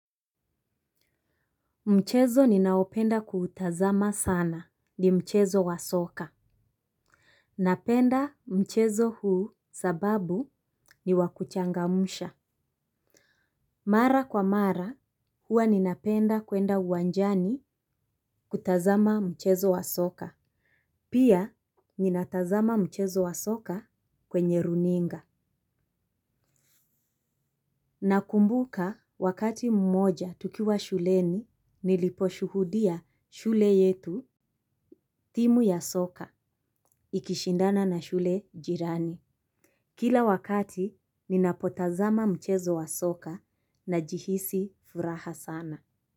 Mchezo ninaopenda kuutazama sana ni mchezo wa soka. Napenda mchezo huu sababu ni wakuchangamusha. Mara kwa mara huwa ninapenda kwenda uwanjani kutazama mchezo wa soka. Pia ninatazama mchezo wa soka kwenye runinga. Nakumbuka wakati mmoja tukiwa shuleni nilipo shuhudia shule yetu timu ya soka. Ikishindana na shule jirani. Kila wakati ninapotazama mchezo wa soka najihisi furaha sana.